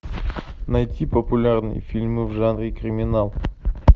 найти популярные фильмы в жанре криминал